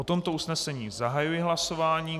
O tomto usnesení zahajuji hlasování.